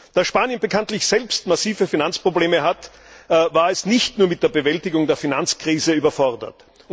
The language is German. Da Spanien bekanntlich selbst massive Finanzprobleme hat, war es nicht nur mit der Bewältigung der Finanzkrise überfordert.